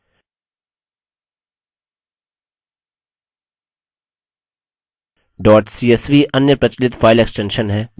dot csv अन्य प्रचलित file extension है जो अधिकतर programs में opens होता है